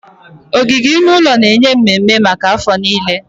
Ogige ime ụlọ na-enye mmemme maka afọ niile.